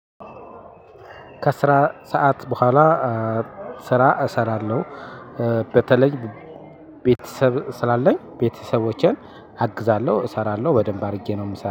ከስራ ሰዓት በኋላ ስራ እሰራለሁ። በተለይ ቤተሰብ ስላለኝ ቤተሰቦቼን አግዛለሁ። እሰራለሁ በደንብ አድርጌ ነው የምሰራው